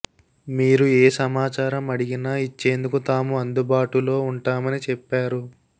మీరు ఏ సమాచారం అడిగినా ఇచ్చేందుకు తాము అందుబాటులో ఉంటామని చెప్పారు